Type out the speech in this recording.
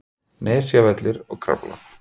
Nesjavellir og Krafla.